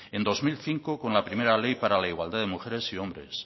en dos mil cinco con la primera ley para la igualdad de mujeres y hombres